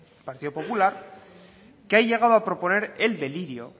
el partido popular que ha llegado a proponer el delirio